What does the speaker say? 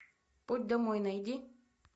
путь домой найди